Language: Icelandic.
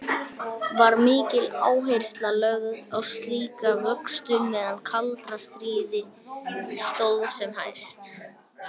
Var mikil áhersla lögð á slíka vöktun meðan kalda stríði stóð sem hæst.